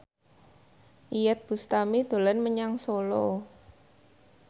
Iyeth Bustami dolan menyang Solo